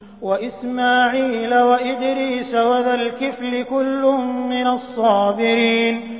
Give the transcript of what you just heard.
وَإِسْمَاعِيلَ وَإِدْرِيسَ وَذَا الْكِفْلِ ۖ كُلٌّ مِّنَ الصَّابِرِينَ